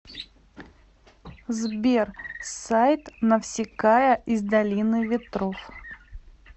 сбер сайт навсикая из долины ветров